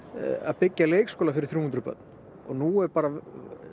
byggja leikskóla fyrir þrjú hundruð börn og nú er bara